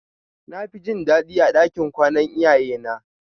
Nafi jin dadi a ɗakin kwana iyaye na.